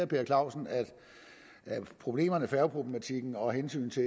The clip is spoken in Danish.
per clausen at færgeproblematikken og hensynet til